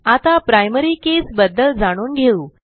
आता primary keys बद्दल जाणून घेऊ